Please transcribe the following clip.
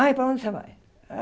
Ai, para onde você vai?